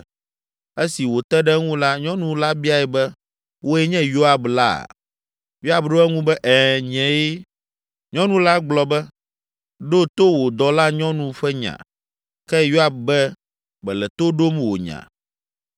Esi wòte ɖe eŋu la, nyɔnu la biae be, “Wòe nye Yoab la?” Yoab ɖo eŋu be, “Ɛ̃, nyee.” Nyɔnu la gblɔ be, “Ɖo to wò dɔlanyɔnu ƒe nya.” Ke Yoab be, “Mele to ɖom wò nya.”